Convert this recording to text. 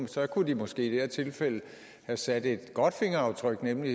så kunne de måske i det her tilfælde have sat et godt fingeraftryk nemlig